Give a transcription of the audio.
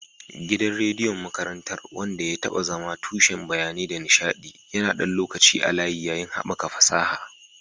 Gidan rediyon makarantar, wanda ya taɓa zama tushen bayanai da nishaɗi, yana ɗan lokaci a layi, yayin haɓaka fasaha